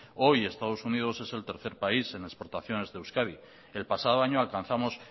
hoy estados unidos es el tercer país en exportaciones de euskadi el pasado año alcanzamos